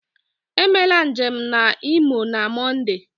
Emela njem na Imo na Mọnde!